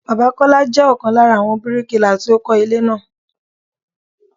Bàbá Kọ́lá jẹ́ ọ̀kan lára àwọn bíríkilà tí ó kọ́ ilé náà.